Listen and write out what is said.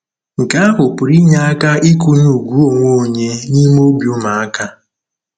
Nke ahụ pụrụ inye aka ịkụnye ùgwù onwe onye n'ime obi ụmụaka.